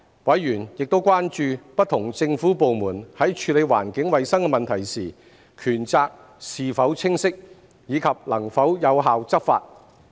委員亦關注不同政府部門在處理環境衞生問題時，權責是否清晰，以及能否有效執法。